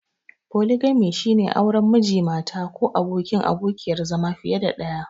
Foligami shine auren Miji/Mata ko abokin/abokiyar zama fiye da ɗaya.